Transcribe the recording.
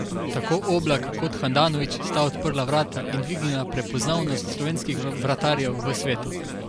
Tako Oblak kot Handanović sta odprla vrata in dvignila prepoznavnost slovenskih vratarjev v svetu.